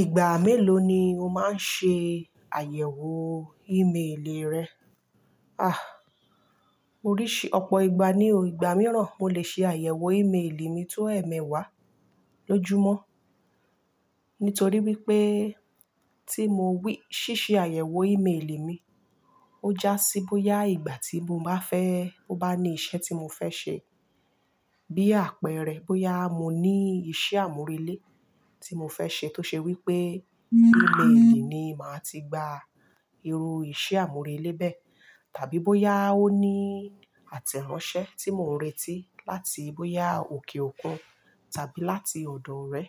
Ìgbà mélòó ni o máa ń ṣe àyẹ̀wò email rẹ? À, oríṣi, ọ̀pọ̀ ìgbà ni o, ìgbà mìíràn mo lè ṣe àyẹ̀wò ìmeèlè mi tó ẹ̀ẹ̀mẹwà lójúmọ́. Nítorí wípé tí mo wí, ṣíṣe àyẹ̀wò ìmeèlè mi, ó já sí bóyá ìgbà tí mo bá fẹ́, mo bá ní iṣẹ́ tí mo fẹ́ ṣe. Bí àpẹẹrẹ, bóyá mo ní iṣẹ́ àmúrelé tí mo fẹ́ ṣe tó ṣe wípé ìmeèlè ni màá ti gba irú iṣẹ́ àmúrelé bẹ́ẹ̀. Tàbí bóyá ó ní àtẹ̀ránṣẹ́ tí mò ń retí láti, bóyá òkè òkun tàbí láti ọ̀dọ̀ orẹ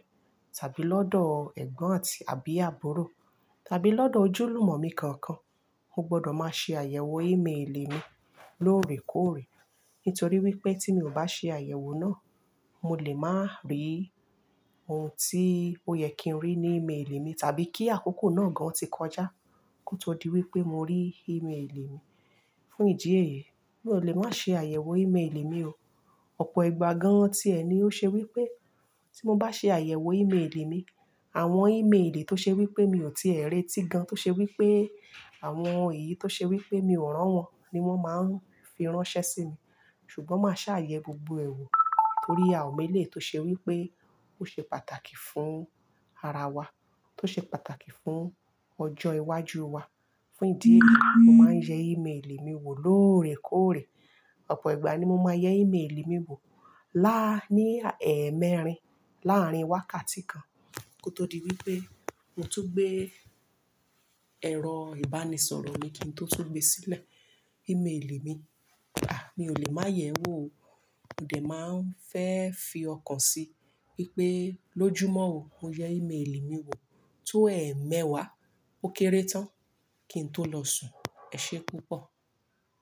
tàbí lọ́dọ̀ ẹ̀gbọ́n àti àbí àbúrò tàbí lọ́dọ̀ ojúlùmọ̀ mi kankan. Mo gbọdọ̀ máa ṣe àyẹ̀wò ìmeèlè mi lóòrèkóòrè. Nítorí wípé tí mi ò bá ṣe àyẹ̀wò náà, mo lè má rí ohun tí ó yẹ kí n rí ní ìmeèlè mi tàbí kí àkókò náà gan tí kọjá kó tó di wípé mo rí ìmeèlè mi. Fún ìdí èyí, mi ò lè má ṣe àyẹ̀wò ìmeèlè mi o. Ọ̀pọ̀ ìgbà gan-an tíẹ ni ó ṣe wípé tí mo bá ṣe àyẹ̀wò ìmeèlè mi, àwọn ìmeèlè tó ṣe wípé mi ò tíì ẹ̀ re tì gan tó ṣe wípé àwọn èyí tó ṣe wípé mi ò rán won ni wón máa ń fi ránṣẹ́ sí mi. Ṣùgbọ́n má ṣàà yẹ̀ gbogbo ẹ̀ wọ̀ torí a ò mo eléyi tó ṣe wípé ó ṣe pàtàkì fún ara wa, tó ṣe pàtàkì fún ọjọ́ iwájú wa. Fún ìdí yìí mo máa ń yẹ ìmeèlè mi wò lóòrèkóòrè. Ọ̀pọ̀ ìgbà ni mo máa yẹ ìmeèlè mi wò. Lá-- ní ẹ̀ẹ̀mẹrin láàárín wákàtí kan kó tó di wípé mo tún gbé ẹ̀rọ ìbánisọ̀rọ̀ mi kí n tó tu gbe sílẹ̀ ìmeèlè mi. À, mi ò lè máa yẹ̀ ẹ́ wò o. Mo dẹ̀ máa ń fẹ́ fi ọkàn sí wípé lójúmọ́ o, mo yẹ ìmeèlè mi wò tó ẹ̀ẹ̀mẹwà ó kéré tán kí n tó lọ sùn. Ẹ ṣé púpọ̀.